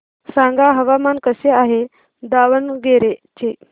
सांगा हवामान कसे आहे दावणगेरे चे